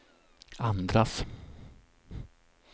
andras